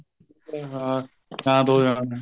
ਉਹ ਹਾਂ ਸ਼ਾਂਤ ਹੋ ਜਾਣਾ